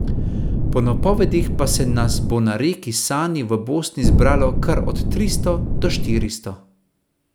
Po napovedih pa se nas bo na reki Sani v Bosni zbralo kar od tristo do štiristo.